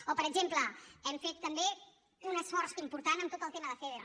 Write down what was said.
o per exemple hem fet també un esforç important en tot el tema de feder